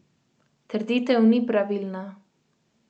Trditev ni pravilna.